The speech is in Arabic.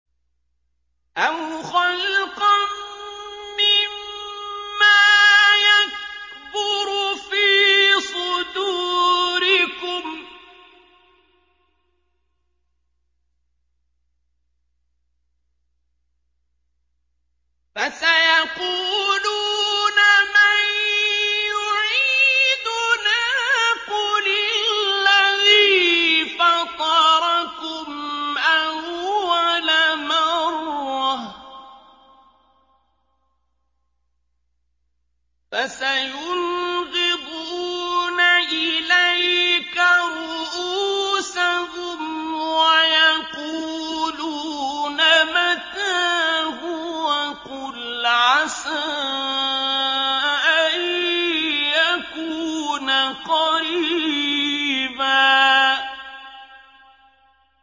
أَوْ خَلْقًا مِّمَّا يَكْبُرُ فِي صُدُورِكُمْ ۚ فَسَيَقُولُونَ مَن يُعِيدُنَا ۖ قُلِ الَّذِي فَطَرَكُمْ أَوَّلَ مَرَّةٍ ۚ فَسَيُنْغِضُونَ إِلَيْكَ رُءُوسَهُمْ وَيَقُولُونَ مَتَىٰ هُوَ ۖ قُلْ عَسَىٰ أَن يَكُونَ قَرِيبًا